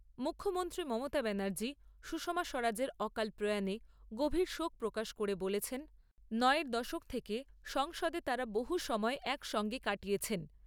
মুখ্যমন্ত্রী মমতা ব্যানার্জী সুষমা স্বরাজের অকাল প্রয়াণে গভীর শোক প্রকাশ করে বলেছেন, নয়ের দশক থেকে সংসদে তাঁরা বহু সময় এক সঙ্গে কাটিয়েছেন।